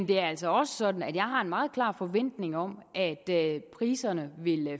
det er altså også sådan at jeg har en meget klar forventning om at priserne vil